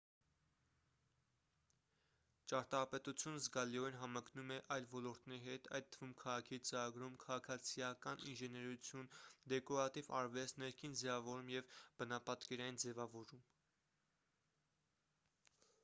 ճարտարապետությունն զգալիորեն համընկնում է այլ ոլորտների հետ այդ թվում քաղաքի ծրագրում քաղաքացիական ինժեներություն դեկորատիվ արվեստ ներքին ձևավորում և բնապատկերային ձևավորում